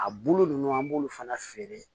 A bolo ninnu an b'olu fana feere